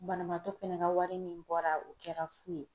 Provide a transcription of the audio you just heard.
Banabaatɔ fɛnɛ ka wari min bɔra o kɛra fu ye